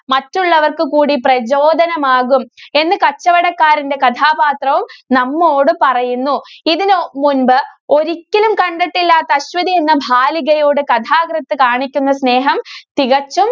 മറ്റുള്ളവര്‍ക്ക് കൂടി പ്രചോദനമാകും എന്ന് കച്ചവടക്കാരന്റെ കഥാപാത്രവും നമ്മോട് പറയുന്നു. ഇതിന് മുന്‍പ് ഒരിക്കലും കണ്ടിട്ടില്ലാത്ത അശ്വതി എന്ന ബാലികയോട് കഥാകൃത്ത്‌ കാണിക്കുന്ന സ്നേഹം തികച്ചും